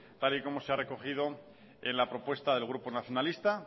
tal y como se ha recogido en la propuesta del grupo nacionalista